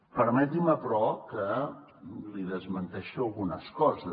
permeti’m però que li desmenteixi algunes coses